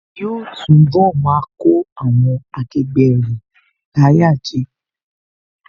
Yóò túnbọ̀ máa kó àwọn akẹgbẹ́ rẹ̀ láyà jẹ